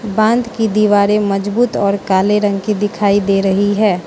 बांध की दीवारें मजबूत और काले रंग की दिखाई दे रही है।